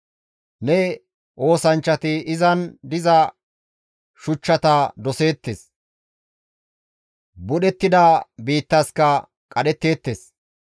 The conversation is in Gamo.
Ne oosanchchati izan diza shuchchata doseettes; budhettida biittaska qadhetteettes.